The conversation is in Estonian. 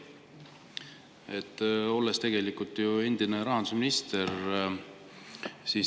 Te olete ju endine rahandusminister.